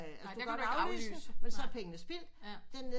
Den kan du godt nok ikke aflyse men så er pengene spildt